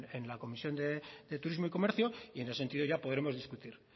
en la comisión de turismo y comercio y en ese sentido ya podremos discutir